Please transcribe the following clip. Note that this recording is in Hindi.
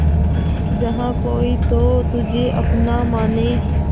जहा कोई तो तुझे अपना माने